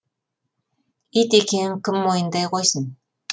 ит екенін кім мойындай қойсын